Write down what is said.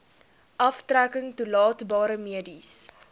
aftrekking toelaatbare mediese